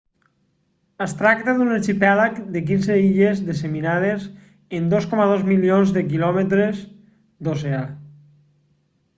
es tracta d'un arxipèlag de 15 illes disseminades en 2,2 milions de km² d'oceà